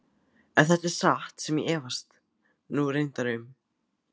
Ef þetta er satt sem ég efast nú reyndar um.